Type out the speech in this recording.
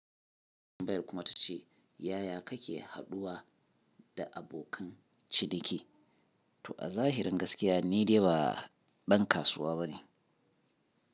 Kuma ta ce, yaya kake haɗuwa da abokan ciniki? To a zahirin gaskiya ni dai ba dan kasuwa bane.